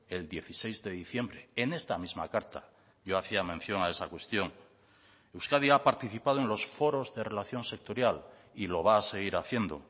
el dieciséis de diciembre en esta misma carta yo hacía mención a esa cuestión euskadi ha participado en los foros de relación sectorial y lo va a seguir haciendo